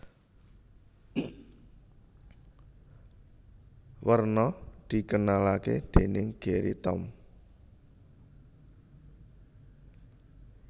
Werna dikenalake dening Gerry Tom